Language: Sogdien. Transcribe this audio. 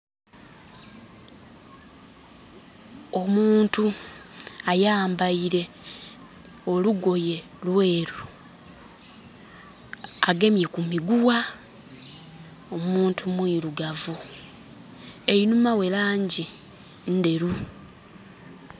Omuntu ayambaire olugoye lweeru agemye ku miguwa. Omuntu mwirugavu. Einhuma we langi nderu.